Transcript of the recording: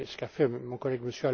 C'est ce qu'a fait mon collègue,